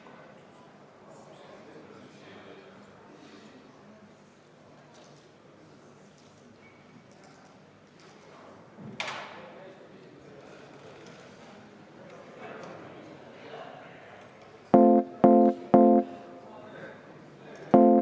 Muudatusettepanek ei leidnud toetust.